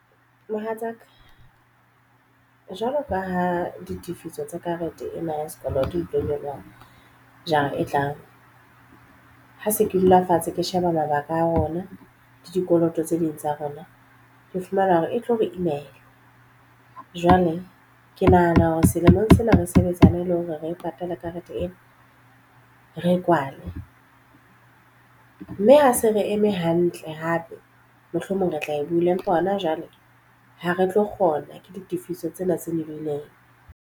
Mohatsaka jwalo ka ha ditifiso tsa karete ena ya sekoloto di tlo nyoloha jara e tlang ha se ke dula fatshe ke sheba mabaka a rona le dikoloto tse ding tsa rona. Ke fumana hore e tlo re imela. Jwale ke nahana hore selemong sena re sebetsane le hore re e patale karete ena re e kwale mme ha se re eme hantle hape mohlomong re tla e bula empa hona jwale ha re tlo kgona ke ditifiso tsena tse lebileng.